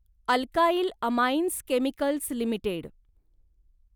alkyl amines chemicals limited